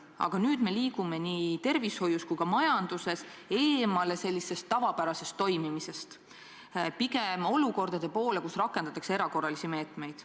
Aga nüüd me liigume nii tervishoius kui ka majanduses tavapärasest toimimisest eemale, meil on tekkinud olukord, kus rakendatakse erakorralisi meetmeid.